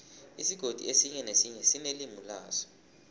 isigodi esinye nesinye sinelimi laso